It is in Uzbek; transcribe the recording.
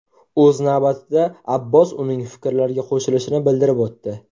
O‘z navbatida, Abbos uning fikrlariga qo‘shilishini bildirib o‘tdi.